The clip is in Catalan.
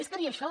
és que ni això